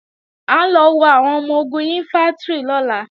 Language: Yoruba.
À ń lọ wo àwọn ọmọ-ogun Ìnfántrì lọ́la